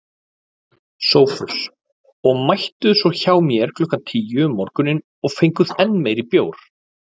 SOPHUS: Og mættuð svo hjá mér klukkan tíu um morguninn og fenguð enn meiri bjór.